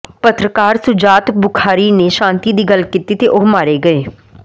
ਪੱਤਰਕਾਰ ਸ਼ੁਜਾਤ ਬੁਖਾਰੀ ਨੇ ਸ਼ਾਂਤੀ ਦੀ ਗੱਲ ਕੀਤੀ ਤੇ ਉਹ ਮਾਰੇ ਗਏ